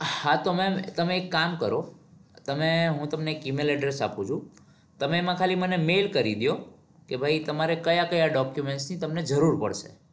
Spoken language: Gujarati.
હા તો ma'am તમે એક કામ કરો તમે હું તમને એક email address આપું છું. તમે એમાં ખાલી મને mail કરી દયો કે ભાઈ તમારે કયા કયા document ની તમને જરૂર પડશે?